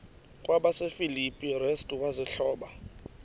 kwabasefilipi restu wazihluba